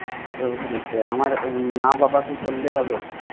আঠার বছরের উপরে। আমার মা বাবাকে করলে হবে